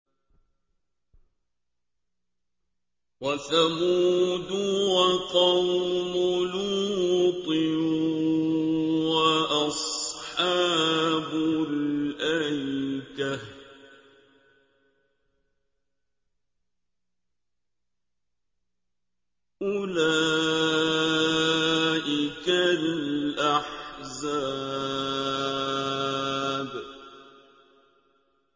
وَثَمُودُ وَقَوْمُ لُوطٍ وَأَصْحَابُ الْأَيْكَةِ ۚ أُولَٰئِكَ الْأَحْزَابُ